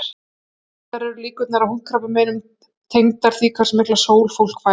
Reyndar eru líkurnar á húðkrabbameinum tengdar því hversu mikla sól fólk fær.